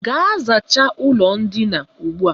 Gaa zachaa ụlọ ndina ugbu a!